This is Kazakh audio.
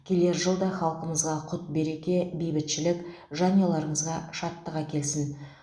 келер жыл да халқымызға құт береке бейбітшілік жанұяларыңызға шаттық әкелсін